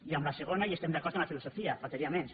i en la segona hi estem d’acord en la filosofia només faltaria